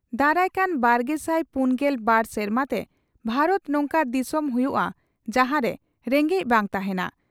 ᱫᱟᱨᱟᱭ ᱠᱟᱱ ᱵᱟᱨᱜᱮᱥᱟᱭ ᱯᱩᱱᱜᱮᱞ ᱵᱟᱨ ᱥᱮᱨᱢᱟ ᱛᱮ ᱵᱷᱟᱨᱚᱛ ᱱᱚᱝᱠᱟ ᱫᱤᱥᱚᱢ ᱦᱩᱭᱩᱜᱼᱟ ᱡᱟᱦᱟᱸᱨᱮ ᱨᱮᱸᱜᱮᱡ ᱵᱟᱝ ᱛᱟᱦᱮᱸᱱᱟ ᱾